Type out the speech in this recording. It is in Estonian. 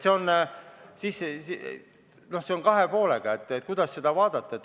See on kahe poolega asi, oleneb, kuidas seda vaadata.